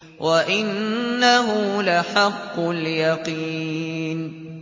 وَإِنَّهُ لَحَقُّ الْيَقِينِ